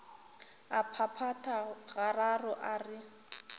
a phaphatha gararo a re